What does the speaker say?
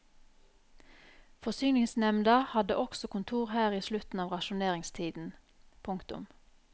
Forsyningsnemda hadde også kontor her i slutten av rasjoneringstiden. punktum